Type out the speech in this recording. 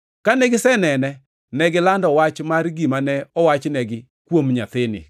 Kane gisenene, negilando wach mar gima ne owachnegi kuom nyathini,